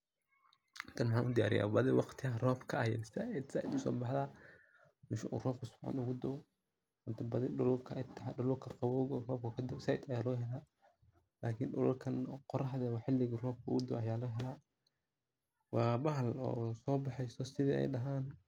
Tani waxan udiyariya badii waqtiyaha robka ah ayey said usobaxda, mesha uu robka sifican ogadao badii dulalka qawowga oo robka kadao said aya logahela lakin dulalkan qoraxda ah xiliga robka uu dao aya lagahela wa bahal sobaxeyso sidha eey dhahan xiliyada robka.